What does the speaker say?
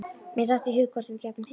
Mér datt í hug hvort við gætum hist.